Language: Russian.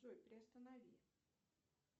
джой приостанови